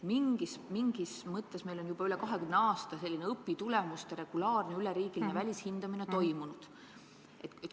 Mingis mõttes meil on juba üle 20 aasta selline õpitulemuste regulaarne üleriigiline välishindamine toimunud.